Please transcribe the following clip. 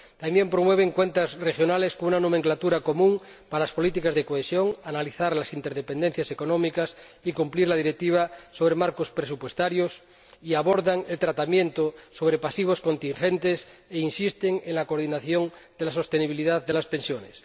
También promueven cuentas regionales con una nomenclatura común para las políticas de cohesión, el análisis de las interdependencias económicas y el cumplimiento de la Directiva sobre marcos presupuestarios, abordan el tratamiento sobre pasivos contingentes e insisten en la coordinación de la sostenibilidad de las pensiones.